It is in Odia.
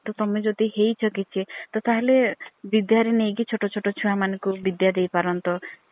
ତମେ ଯଦି ହେଇଛ କିଛି ତା ହେଲେ ବିଦାରୀ ନେଇକି ଛୋଟ ଛୋଟ ଛୁଆ ମାନଙ୍କୁ ବିଦ୍ୟା ଦେଇ ପାରନ୍ତ।